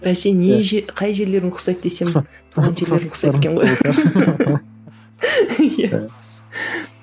бәсе не қай жерлерің ұқсайды десем ұқсайды екен ғой